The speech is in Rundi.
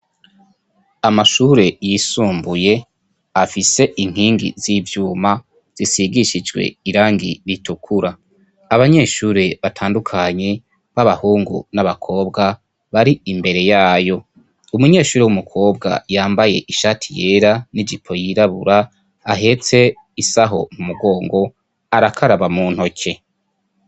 Amashure y'isumbuye afise inkingi z'ivyuma zisigishijwe irangi ritukura. Abanyeshuri batandukanye b'abahungu n'abakobwa bari imbere yayo. Umunyeshuri w'umukobwa yambaye ishati yera n'ijipo yirabura ahetse isaho umugongo arakaraba mu ntoke.